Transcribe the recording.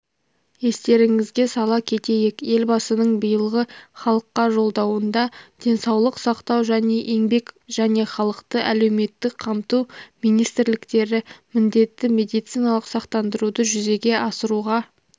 естеріңізге сала кетейік елбасының биылғы халыққа жолдауында денсаулық сақтау және еңбек және халықты әлеуметтік қамту министрліктері міндетті медициналық сақтандаруды жүзеге асыруға